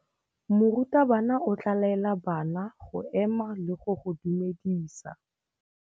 Morutabana o tla laela bana go ema le go go dumedisa.